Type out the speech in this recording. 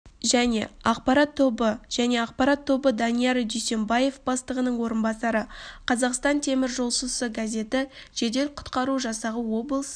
және ақпарат тобы және ақпарат тобы данияр дүйсембаев бастығының орынбасары қазақстан теміржолшысы газеті жедел-құтқару жасағы облыс